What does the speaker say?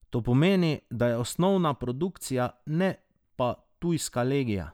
To pomeni, da je osnova produkcija, ne pa tujska legija.